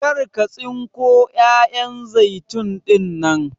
Kar ka tsinko 'ya'yan zaitun ɗinnan!